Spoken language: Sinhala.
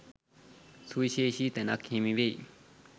සුවිශේෂි තැනක් හිමිවෙයි.